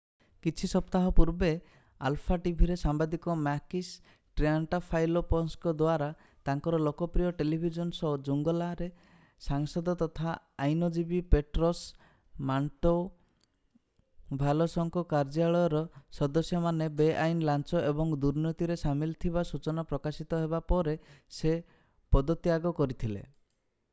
କିଛି ସପ୍ତାହ ପୂର୍ବେ ଆଲଫା ଟିଭିରେ ସାମ୍ବାଦିକ ମାକିସ୍ ଟ୍ରିଆଣ୍ଟାଫାଇଲୋପସଙ୍କ ଦ୍ୱାରା ତାଙ୍କର ଲୋକପ୍ରିୟ ଟେଲିଭିଜନ ଶୋ ଜୁଙ୍ଗଲା"ରେ ସାଂସଦ ତଥା ଆଇନଜୀବୀ ପେଟ୍ରୋସ୍ ମଣ୍ଟୋଭାଲୋସଙ୍କ କାର୍ଯ୍ୟାଳୟର ସଦସ୍ୟମାନେ ବେଆଇନ ଲାଞ୍ଚ ଏବଂ ଦୁର୍ନୀତିରେ ସାମିଲ ଥିବା ସୂଚନା ପ୍ରକାଶିତ ହେବା ପରେ ସେ ପଦତ୍ୟାଗ କରିଥିଲେ।